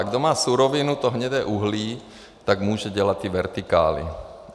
A kdo má surovinu, to hnědé uhlí, tak může dělat ty vertikály.